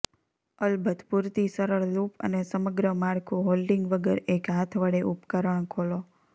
અલબત્ત પૂરતી સરળ લૂપ અને સમગ્ર માળખું હોલ્ડિંગ વગર એક હાથ વડે ઉપકરણ ખોલો